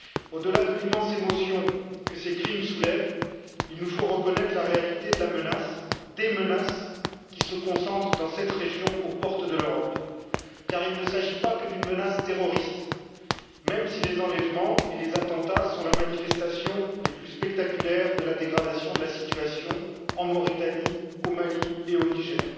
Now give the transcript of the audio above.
Au delà de l'immense émotion que ces crimes soulèvent, il nous faut reconnaître la réalité des menaces qui se concentrent dans cette région aux portes de l'Europe, car il ne s'agit pas que d'une menace terroriste, même si les enlèvements et les attentats sont les manifestations les plus spectaculaires de la dégradation de la situation en Mauritanie, au Mali et au Niger.